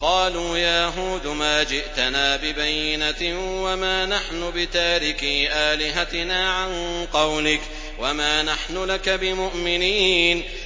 قَالُوا يَا هُودُ مَا جِئْتَنَا بِبَيِّنَةٍ وَمَا نَحْنُ بِتَارِكِي آلِهَتِنَا عَن قَوْلِكَ وَمَا نَحْنُ لَكَ بِمُؤْمِنِينَ